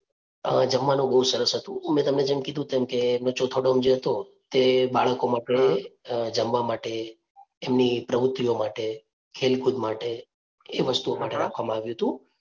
અ જમવાનું બહુ સરસ હતું. મે તમને જેમ કીધું તેમ કે જે હતો તે બાળકો માટે અ જમવા માટે, એમની પ્રવુતિઓ માટે, ખેલકુદ માટે એ વસ્તુઓ માટે રાખવામાં આવ્યું હતું.